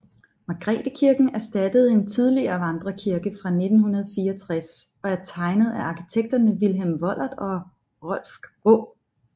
Margrethekirken erstattede en tidligere vandrekirke fra 1964 og er tegnet af arkitekterne Vilhelm Wohlert og Rolf Graae